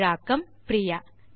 தமிழாக்கம் பிரியா